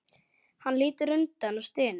Hann lítur undan og stynur.